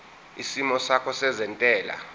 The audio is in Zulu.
isimo sakho sezentela